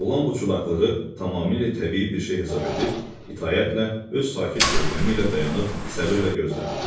Oğlan bu çudaqlığı tamamilə təbii bir şey hesab edib, itaətlə, öz sakit görkəmi ilə dayanıb səbrlə gözlədi.